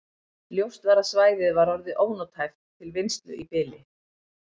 Ljóst var að svæðið var orðið ónothæft til vinnslu í bili.